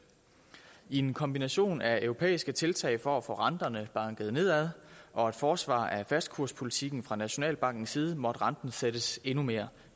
i en kombination af europæiske tiltag for at få renterne banket nedad og et forsvar af fastkurspolitikken fra nationalbankens side måtte renten sættes endnu mere